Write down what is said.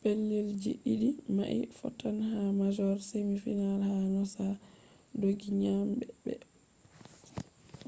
pellel ji ɗiɗi mai fottan ha major semi final ha noosa dooggi nyami be